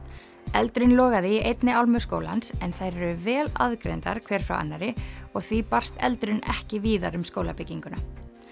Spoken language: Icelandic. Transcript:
eldurinn logaði í einni álmu skólans en þær eru vel aðgreindar hver frá annarri og því barst eldurinn ekki víðar um skólabygginguna